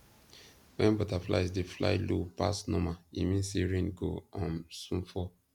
when butterflies dey fly low pass normal e mean say rain go um soon fall